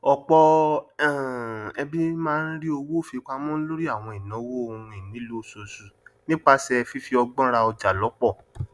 ọpọ um ẹbí máa n rí owó fi pamọ lórí àwọn ìnáwó ohun ìnílò oṣooṣù nípasẹ fífi ọgbọn rà ọjà lọpọ